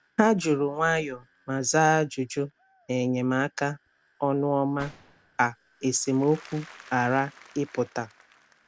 Ha juru nwayọọ ma zaa ajụjụ n’enyemaka ọnụ ọma ka esemokwu ghara ịpụta.